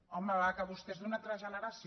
home va que vostè és d’una altra generació